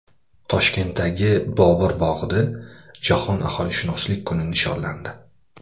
Toshkentdagi Bobur bog‘ida Jahon aholishunoslik kuni nishonlandi.